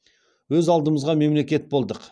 өз алдымызға мемлекет болдық